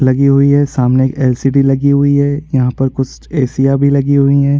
लगी हुई है सामने एक एल.सी.डी. लगी हुई है यहाँ पर कुछ एसिया भी लगी हुई है।